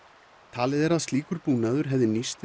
talið er að slíkur búnaður hefði nýst